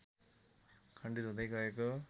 खण्डित हुँदै गएको